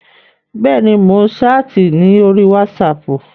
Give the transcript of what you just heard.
Bẹ́ẹ̀ni, mò ń ṣáàtì ní orí wátísapù